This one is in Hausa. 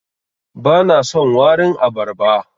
Bana son warin abarba.